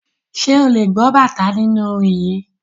Ṣé ò lè gbọ́ bàtá nínú orin yìí.